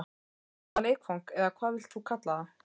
Já, eða leikfang eða hvað þú vilt kalla það.